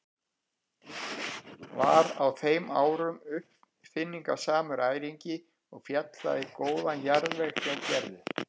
Var á þeim árum uppáfinningasamur æringi og féll það í góðan jarðveg hjá Gerði.